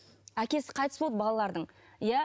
әкесі қайтыс болды балалардың иә